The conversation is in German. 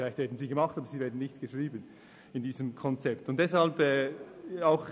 Vielleicht werden sie entworfen, aber im Konzept nicht festgehalten.